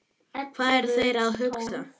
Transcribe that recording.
Hvað eru þeir að huga?